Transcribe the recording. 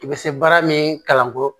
I bɛ se baara min kalanko